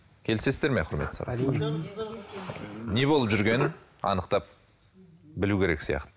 келісесіздер ме құрметті не болып жүргенін анықтап білу керек сияқты